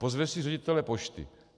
Pozve si ředitele pošty.